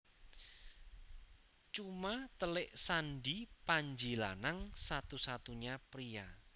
Cuma telik Sandi Panji Lanang satu satunya pria